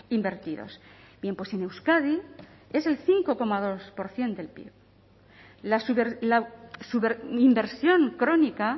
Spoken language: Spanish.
invertidos bien pues en euskadi es el cinco coma dos por ciento del pib la inversión crónica